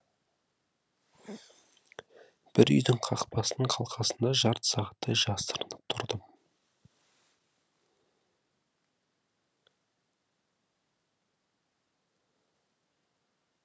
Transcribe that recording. бір үйдің қақпасының қалқасында жарты сағаттай жасырынып тұрдым